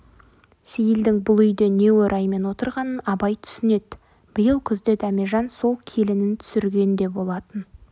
сейілдің бұл үйде не ораймен отырғанын абай түсінеді биыл күзде дәмежан сол келінін түсірген де болатын